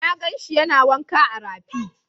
Na gan shi yana wanka a rafi.